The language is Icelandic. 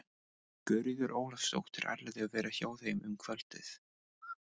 Guðríður Ólafsdóttir ætlaði að vera hjá þeim um kvöldið.